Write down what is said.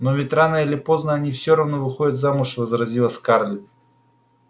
но ведь рано или поздно они все равно выходят замуж возразила скарлетт